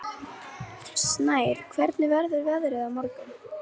Snær, hvernig verður veðrið á morgun?